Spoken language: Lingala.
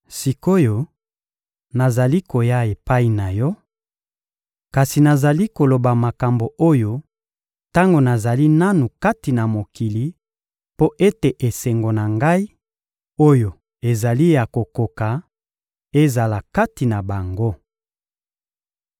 Sik’oyo, nazali koya epai na Yo; kasi nazali koloba makambo oyo tango nazali nanu kati na mokili mpo ete esengo na Ngai, oyo ezali ya kokoka, ezala kati na bango.